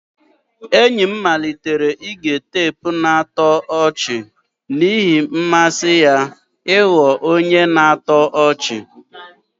Enyi m malitere ige teepu na-atọ ọchị n'ihi mmasị ya ịghọ onye na-atọ ọchị.